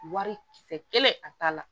Wari kisɛ kelen a t'a la